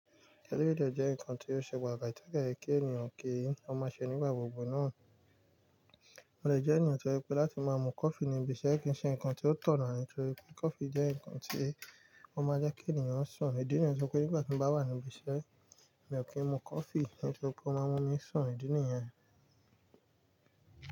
Eleyii jẹ́ ǹkan tí ó ṣe pàtàkì tẹ́ de ye kí ènìyàn kí ó má ṣe nígbà gbogbo náà. Mo de eniyan tí ó je pé láti máa mu coffee ní ibiṣẹ́ kì í ṣe ǹkan tí ó tọ̀nà nítorí pé coffee jẹ́ ǹkan tí ó máa jẹ́ kí ènìyàn sùn. Ìdí nìyẹn tí ó ṣe pé nígbà tí mo bá wà ní ibiṣẹ́ mi ò kí ń mu kọfí nítorí pé ó máa mú mi sun. Ìdí nìyẹn.